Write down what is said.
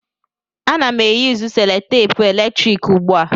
Ana m eyusu selutepu eletrik ugbu a.